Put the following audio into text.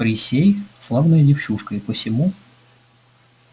присей славная девчушка и посему